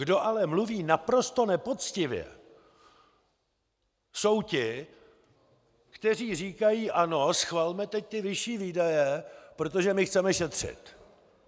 Kdo ale mluví naprosto nepoctivě, jsou ti, kteří říkají: Ano, schvalme teď ty vyšší výdaje, protože my chceme šetřit.